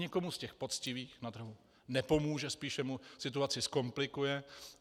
Nikomu z těch poctivých na trhu nepomůže, spíše mu situaci zkomplikuje.